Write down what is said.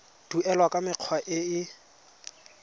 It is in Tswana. duelwa ka mekgwa e e